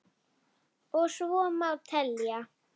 Og svo má telja.